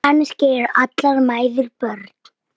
Kannski eru allar mæður börn.